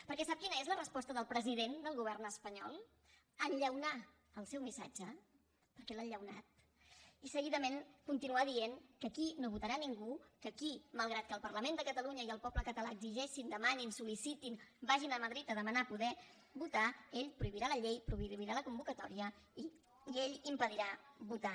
perquè sap quina és la resposta del president del govern espanyol enllaunar el seu missatge perquè l’ha enllaunat i seguidament continuar dient que aquí no votarà ningú que aquí malgrat que el parlament de catalunya i el poble català exigeixin demanin sol·licitin vagin a madrid a demanar poder votar ell prohibirà la llei prohibirà la convocatòria i ell impedirà votar